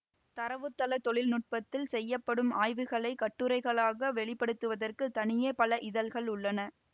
தரவுத்தள தொழில்நுட்பத்தில் செய்யப்படும் ஆய்வுகளை கட்டுரைகளாக வெளிபடுத்துவதற்கு தனியே பல இதழ்கள் உள்ளன